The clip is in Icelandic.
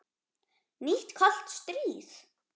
Nýtt kalt stríð?